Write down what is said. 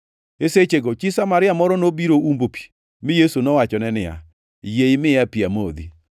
E sechego chi Samaria moro nobiro umbo pi, mi Yesu nowachone niya, “Yie imiya pi amodhi.”